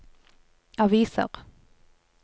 aviser